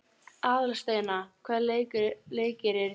Aðalsteina, hvaða leikir eru í kvöld?